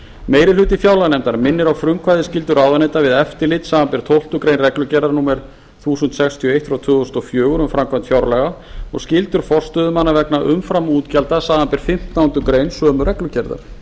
meiri hluti fjárlaganefndar minnir á frumkvæðisskyldu ráðuneyta við eftirlit samanber tólftu grein reglugerðar númer eitt þúsund sextíu og eitt tvö þúsund og fjögur um framkvæmd fjárlaga og skyldur forstöðumanna vegna umframútgjalda samanber fimmtándu grein sömu reglugerðar